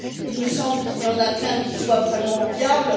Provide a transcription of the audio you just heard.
Il me semble qu'il n'y en a qu'un qui soit vraiment viable.